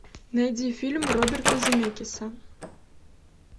найди фильм роберта земекиса